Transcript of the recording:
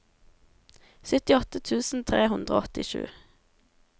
syttiåtte tusen tre hundre og åttisju